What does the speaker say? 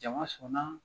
Jama sɔnna